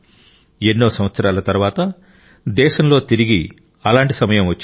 ఎన్నో సంవత్సరాల తరువాత దేశంలో తిరిగి అలాంటి సమయం వచ్చింది